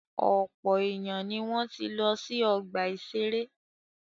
Ọ̀pọ̀ èèyàn ni wọ́n ti lọ sí ọgbà-ìṣeré